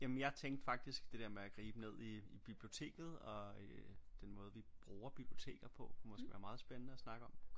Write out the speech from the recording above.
Jamen jeg tænkte faktisk det der med at gribe ned i biblioteket og øh den måde vi bruger biblioteker på måske være meget spændende at snakke om